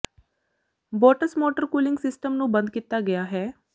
boats motor cooling system ਨੂੰ ਬੰਦ ਕੀਤਾ ਗਿਆ ਹੈ